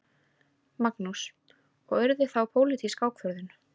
Magnús: Og yrði þá pólitísk ákvörðun?